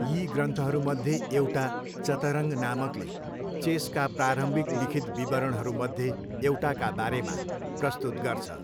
यी ग्रन्थहरूमध्ये एउटा, चतरङ्ग नामकले, चेसका प्रारम्भिक लिखित विवरणहरूमध्ये एउटाका बारेमा प्रस्तुत गर्छ।